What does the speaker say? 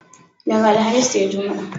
Daga Alhamis sai Juma'a.